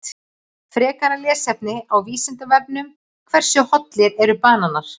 Frekara lesefni á Vísindavefnum: Hversu hollir eru bananar?